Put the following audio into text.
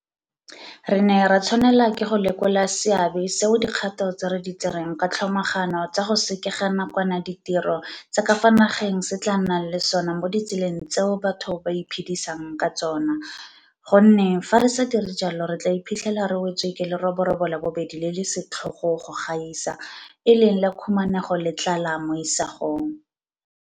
Re ne ra tshwanela ke go lekola seabe seo dikgato tse re di tsereng ka tlhomagano tsa go sekega nakwana ditiro tsa ka fa nageng se tla nnang le sona mo ditseleng tseo batho ba iphedisang ka tsona, gonne fa re sa dire jalo re tla iphitlhela re wetswe ke leroborobo la bobedi le le setlhogo go gaisa e leng la khumanego le tlala mo isagong.